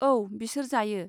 औ, बिसोर जायो।